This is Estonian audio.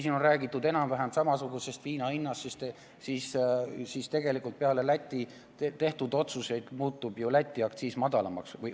Siin on räägitud enam-vähem samasugusest viina hinnast, aga tegelikult peale Lätis tehtud otsuseid muutub ju Eesti viinaaktsiis madalamaks.